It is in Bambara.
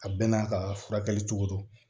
A bɛɛ n'a ka furakɛli cogo don